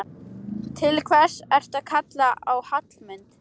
Til hvers ertu að kalla á Hallmund?